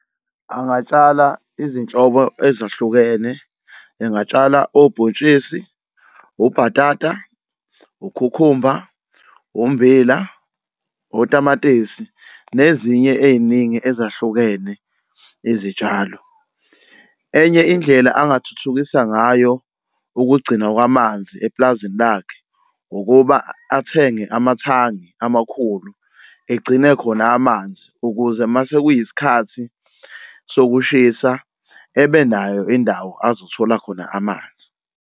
Angatshala izinhlobo ezahlukene. Engatshala obhontshisi, ubhatata, ukhukhumba, umbila, otamatisi, nezinye ey'ningi ezahlukene izitshalo. Enye indlela angathuthukisa ngayo ukugcina kwamanzi epulazini lakhe ukuba athenge amathangi amakhulu egcine khona amanzi ukuze mase kuyisikhathi sokushisa ebenayo indawo azothola khona amanzi.